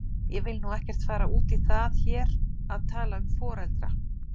Ég vil nú ekkert fara út í það hér að tala um foreldra.